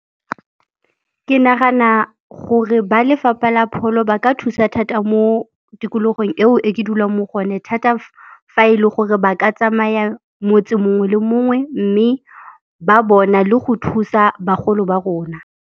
Ke nagana gore ba lefapa la pholo ba ka thusa thata mo tikologong eo e ke dulang mo go one thata fa e le gore ba ka tsamaya motse mongwe le mongwe mme ba bona le go thusa bagolo ba rona.